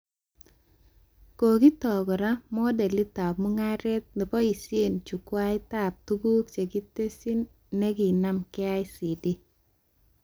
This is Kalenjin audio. Kokiton kora modelitab mugaret neboishee chukwaitab tuguk chekitesyi nekinam KICD